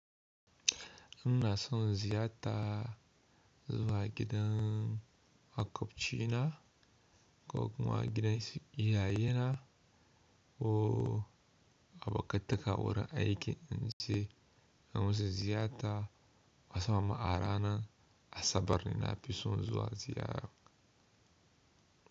Inna so ziyarta zuwa gidan makwabci na ko kuma gidan iyaye na ko abokanta ka wurin aiki in si an wuce ziyata, wasu ma ma’arana a sabar na fi so zuwa ziyara.